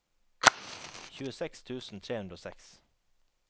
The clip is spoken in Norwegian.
tjueseks tusen tre hundre og seks